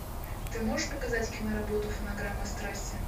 ты можешь показать киноработу фонограмма страсти